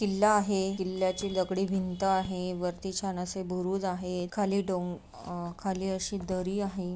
किल्ला आहे किल्याची दगडी भिंत आहे वरती छन आशे भूरूज़ आहे खाली डों अ आहे आ खाली अशी दरी आहे.